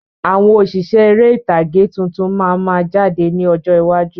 Àwọn òṣìṣẹ́ ère ìtàgé tuntun máa ma jáde ní ọjọ́ iwájú.